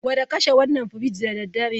Gwada kashe wannan firij da dare!